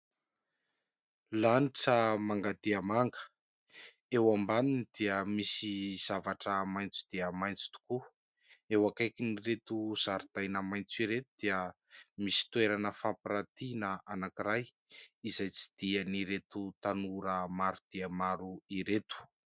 Lanitra manga dia manga, eo ambaniny dia misy zavatra maitso dia maitso tokoa. Eo akaikin'ireto zaridaina maitso ireto dia misy toerana fampirantiana anankiray, izay tsidihan'ireto tanora maro dia maro ireto.